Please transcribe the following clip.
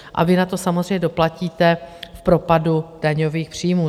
A vy na to samozřejmě doplatíte v propadu daňových příjmů.